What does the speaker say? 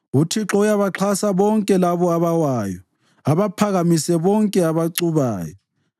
UThixo uyabaxhasa bonke labo abawayo abaphakamise bonke abacubayo.